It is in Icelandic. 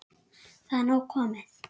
Það er nóg komið.